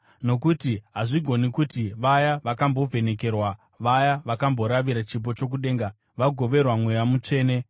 Nokuti hazvigoni kuti vaya vakambovhenekerwa, vaya vakamboravira chipo chokudenga, vakagoverwa Mweya Mutsvene,